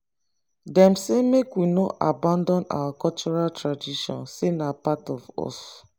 dem say make we no abandon our cultural tradition sey na part of us